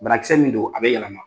Banakisɛ min don a bɛ yɛlɛma.